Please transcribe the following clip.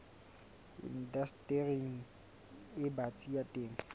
indastering e batsi ya temo